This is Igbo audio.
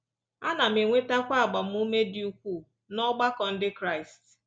Ana m enwetakwa agbamume dị ukwuu n’ọgbakọ Ndị Kraịst